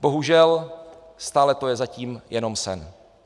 Bohužel stále to je zatím jenom sen.